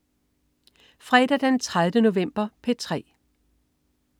Fredag den 30. november - P3: